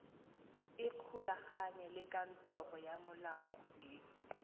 ikgolaganye le kantoro ya molaodimogolo